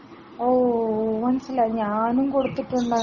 ഓ മനസ്സിലായി ഞാനും കൊടുത്തിട്ടുണ്ടങ്ങനെ.